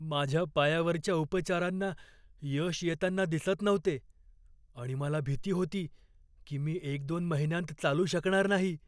माझ्या पायावरच्या उपचारांना यश येताना दिसत नव्हते आणि मला भीती होती की मी एक दोन महिन्यांत चालू शकणार नाही.